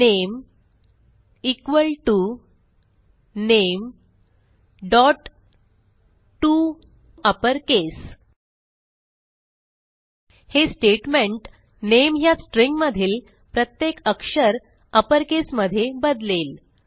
name equal to nametoUpperCase हे statement नामे ह्या स्ट्रिंग मधील प्रत्येक अक्षर अपरकेस मध्ये बदलेल